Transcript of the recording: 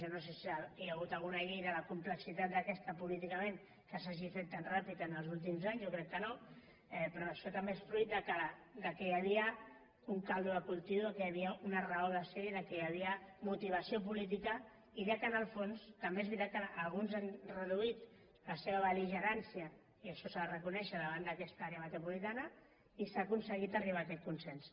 jo no sé si hi ha hagut alguna llei de la complexitat d’aquesta políticament que s’hagi fet tan ràpida en els últims anys jo crec que no però això també és fruit que hi havia un caldo de cultiu que hi havia una raó de ser que hi havia motivació política i que en el fons també és veritat que alguns han reduït la seva bel·ligerància i això s’ha de reconèixer davant d’aquesta àrea metropolitana i s’ha aconseguit arribar a aquest consens